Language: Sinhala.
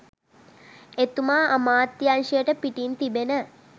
එතුමා අමාත්‍යංශයට පිටින් තිබෙන